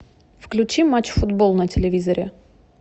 включи матч футбол на телевизоре